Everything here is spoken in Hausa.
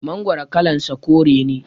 Mangoro kalan sa kore ne